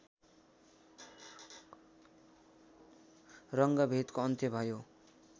रङ्गभेदको अन्त्य भयो